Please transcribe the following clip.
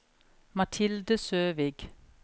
Mathilde Søvik